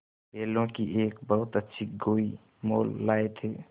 बैलों की एक बहुत अच्छी गोई मोल लाये थे